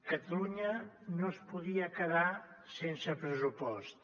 catalunya no es podia quedar sense pressupost